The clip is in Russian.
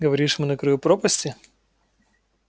говоришь мы на краю пропасти